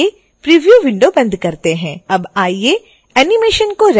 अब आइए एनीमेशन को रेंडर करते हैं